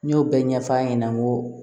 N y'o bɛɛ ɲɛf'a ɲɛna n ko